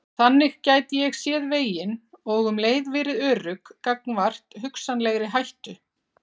Þannig gæti ég séð veginn og um leið verið örugg gagnvart hugsanlegri hættu.